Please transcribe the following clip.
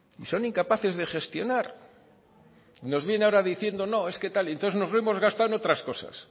y son incapaces de gestionar nos viene ahora diciendo no es que tal y entonces nos lo hemos gastado en otras cosas